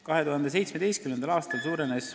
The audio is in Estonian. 2017. aastal suurenes ...